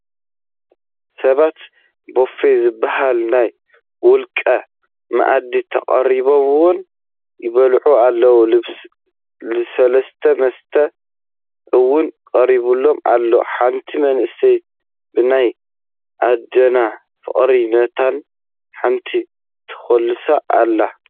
ሰባት ቡፌ ዝበሃል ናይ ውልቀ መኣዲ ተቐሪቡወን ይበልዓ ኣለዋ፡፡ ልስሉስ መስተ እውን ቀሪቡለን ኣሎ፡፡ ሓንቲ መንእሰይ ብናይ ዓድና ፍቕሪ ነተን ሓንቲ ተኹልሰን ኣላ፡፡